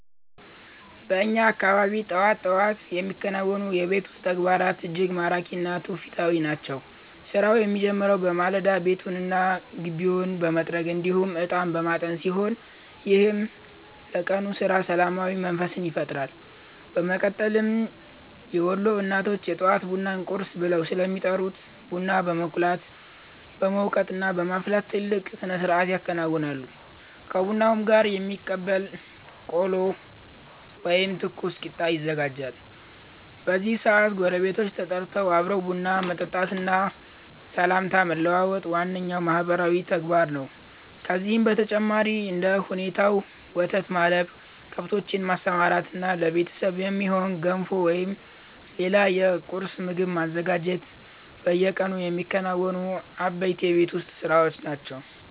በእኛ አካባቢ ጠዋት ጠዋት የሚከናወኑ የቤት ውስጥ ተግባራት እጅግ ማራኪ እና ትውፊታዊ ናቸው። ስራው የሚጀምረው በማለዳ ቤቱንና ግቢውን በመጥረግ እንዲሁም እጣን በማጠን ሲሆን፣ ይህም ለቀኑ ስራ ሰላማዊ መንፈስን ይፈጥራል። በመቀጠልም የወሎ እናቶች የጠዋት ቡናን 'ቁርስ' ብለው ስለሚጠሩት ቡና በመቁላት፣ በመውቀጥና በማፍላት ትልቅ ስነስርዓት ያከናውናሉ። ከቡናውም ጋር የሚበላ ቆሎ ወይም ትኩስ ቂጣ ይዘጋጃል። በዚህ ሰዓት ጎረቤቶች ተጠርተው አብሮ ቡና መጠጣትና ሰላምታ መለዋወጥ ዋነኛው ማህበራዊ ተግባር ነው። ከዚህም በተጨማሪ እንደ ሁኔታው ወተት ማለብ፣ ከብቶችን ማሰማራትና ለቤተሰብ የሚሆን ገንፎ ወይም ሌላ የቁርስ ምግብ ማዘጋጀት በየቀኑ የሚከናወኑ አበይት የቤት ውስጥ ስራዎች ናቸው።